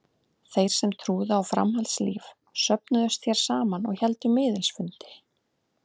Þeir sem trúðu á framhaldslíf söfnuðust hér saman og héldu miðils fundi.